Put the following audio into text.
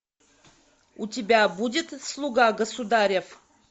у тебя будет слуга государев